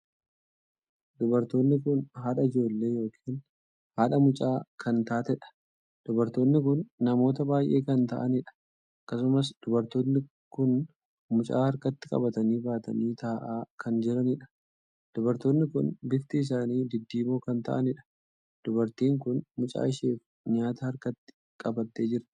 Dubartoonni kun haadha ijoollee ykn haadha mucaa kan taateedha. dubartoonni kun namoota baay'ee kan taa'aniidha. akkasumas dubartoonni kun mucaa harkatti qabatanii baatanii taa'aa kanjiraniidha. dubartoonni kun bifti isaanii diddiimoo kan taa'aniidha. dubartiin kun mucaa isheef nyaata harkatti qabatee jirti.